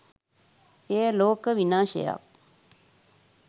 එය ලෝක විනාශයක්